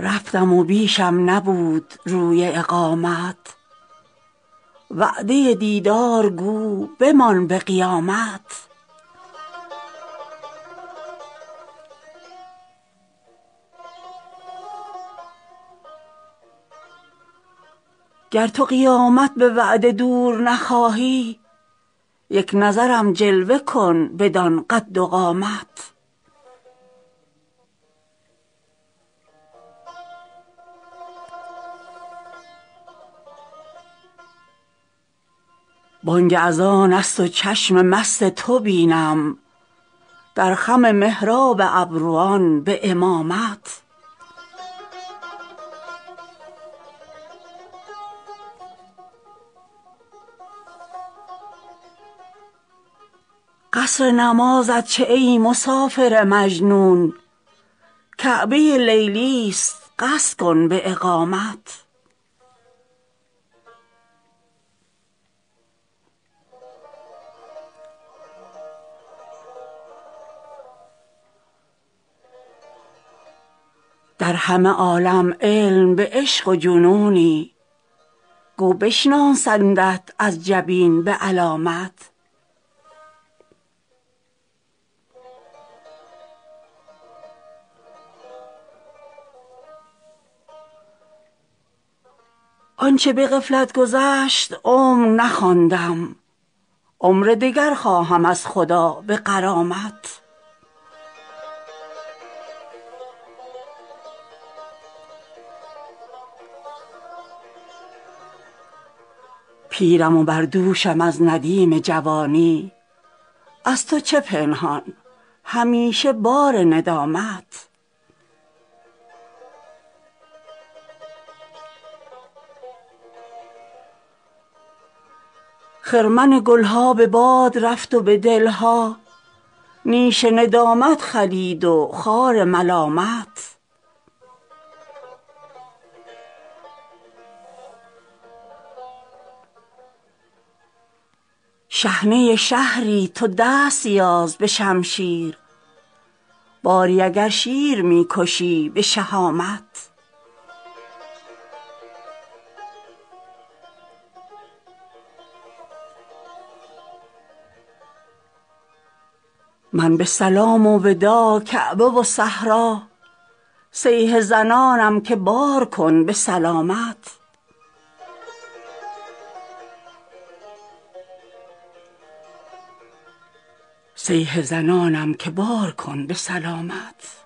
رفتم و بیشم نبود روی اقامت وعده دیدار گو بمان به قیامت گر تو قیامت به وعده دور نخواهی یک نظرم جلوه کن بدان قد و قامت بانگ اذان است و چشم مست تو بینم در خم محراب ابروان به امامت قصر نمازت چه ای مسافر مجنون کعبه لیلی است قصد کن به اقامت در همه عالم علم به عشق و جنونی گو بشناسندت از جبین به علامت آنچه به غفلت گذشت عمر نخواندم عمر دگر خواهم از خدا به غرامت پیرم و بر دوشم از ندیم جوانی از تو چه پنهان همیشه بار ندامت خرمن گل ها به باد رفت و به دل ها نیش ندامت خلید و خار ملامت نیش ندامت چنان گزنده که گویی پشه هجومت کند به شاخ حجامت هرچه زنندم به طعنه زخم که بازآ پوست به تن می فزایدم به ضخامت چون کنم ای عاقلان که این مرض عشق رو نهد از هر سخاوتی به وخامت لیکن از این ناله هم دریغ ندارم تا نکشد کار عاشقان به لیامت شحنه شهری تو دست یاز به شمشیر باری اگر شیر می کشی به شهامت قصر شهان کی رسد به کلبه درویش تخت تبختر کجا و تاج کرامت من به سلام و وداع کعبه و صحرا صیحه زنانم که بارکن به سلامت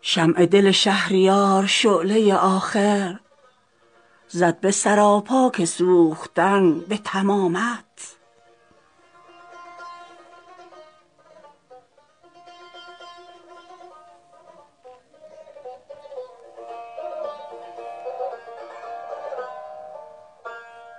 شمع دل شهریار شعله آخر زد به سراپا که سوختن به تمامت